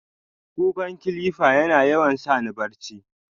ƙukka "clipper" yana yawan sani barchi.